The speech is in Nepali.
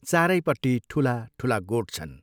चारैपट्टि ठूला, ठूला गोठ छन्।